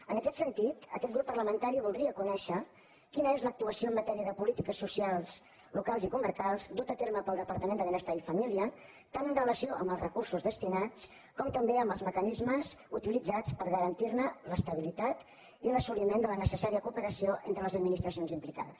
en aquest sentit aquest grup parlamentari voldria co·nèixer quina és l’actuació en matèria de polítiques so·cials locals i comarcals duta a terme pel departament de benestar i família tant en relació amb els recursos destinats com també amb els mecanismes utilitzats per garantir l’estabilitat i l’assoliment de la necessària cooperació entre les administracions implicades